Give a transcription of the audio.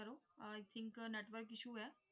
ਕਰੋ I think network issue ਹੈ ।